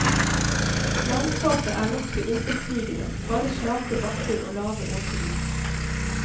Landskapet er nokså intetsigende, bare slake bakker og lave åsrygger.